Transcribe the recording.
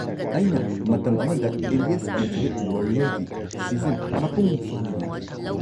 ꯑꯩꯅ ꯃꯇꯝ ꯑꯃꯗ 'ꯏꯟꯗꯤꯌꯥꯁ ꯑꯜꯇꯤꯃꯦꯠ ꯋꯥꯔꯤꯌꯔ"ꯒꯤ ꯁꯤꯖꯟ ꯃꯄꯨꯡꯐꯥꯅ ꯌꯦꯡꯈꯤ꯫